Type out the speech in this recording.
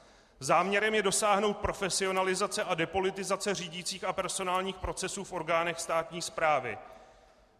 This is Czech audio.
Záměrem je dosáhnout profesionalizace a depolitizace řídicích a personálních procesů v orgánech státní správy.